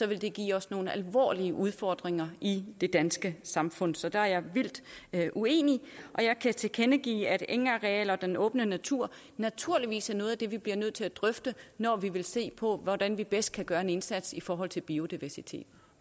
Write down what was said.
ville det give os nogle alvorlige udfordringer i det danske samfund så der er jeg vildt uenig og jeg kan tilkendegive at engarealer og den åbne natur naturligvis er noget af det vi bliver nødt til at drøfte når vi vil se på hvordan vi bedst kan gøre en indsats i forhold til biodiversitet